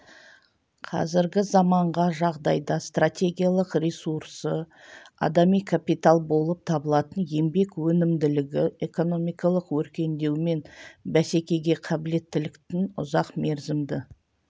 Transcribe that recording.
қазіргі заманғы жағдайда стратегиялық ресурсы адами капитал болып табылатын еңбек өнімділігі экономикалық өркендеу мен бәсекеге қабілеттіліктің ұзақ мерзімді